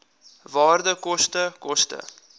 waarde koste koste